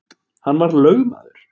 Hann var lögmaður